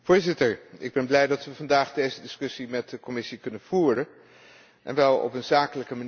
Ik ben blij dat we vandaag deze discussie met de Commissie kunnen voeren en wel op een zakelijke manier.